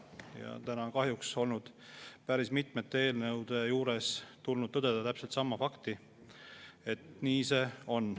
Ja täna on kahjuks tulnud päris mitme eelnõu puhul tõdeda, et nii see on.